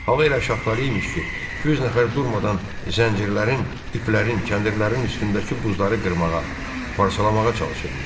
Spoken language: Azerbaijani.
Hava elə şaxtalı imiş ki, 100 nəfər durmadan zəncirlərin, iplərin, kəndirlərin üstündəki buzları qırmağa, parçalamağa çalışırmış.